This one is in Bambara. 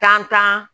Tan tan